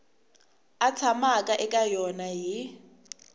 a tshamaka eka yona hi